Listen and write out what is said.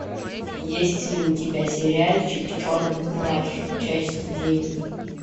есть ли у тебя сериальчик черный плащ часть девять